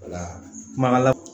Wala kuma la